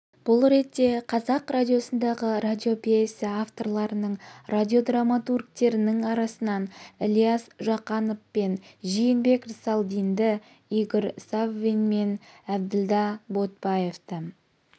бұл ретте қазақ радиосындағы радиопьеса авторларының радиодраматургтерінің арасынан ілия жақанов пен жиенбек рсалдинді игорь саввин мен әбділдә ботбаевты